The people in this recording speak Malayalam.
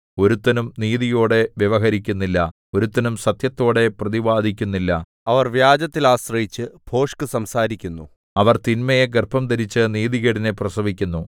ഒരുത്തനും നീതിയോടെ വ്യവഹരിക്കുന്നില്ല ഒരുത്തനും സത്യത്തോടെ പ്രതിവാദിക്കുന്നില്ല അവർ വ്യാജത്തിൽ ആശ്രയിച്ചു ഭോഷ്ക് സംസാരിക്കുന്നു അവർ തിന്മയെ ഗർഭംധരിച്ചു നീതികേടിനെ പ്രസവിക്കുന്നു